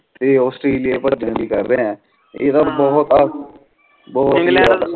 ਤੇ ਆਸਟ੍ਰੇਲੀਆ ਏ ਭਜਨ ਦੇ ਕਰ ਰਹੇ ਆ ਏਦਾਂ ਬਹੁਤ ਅ ਬਹੁਤ ਏ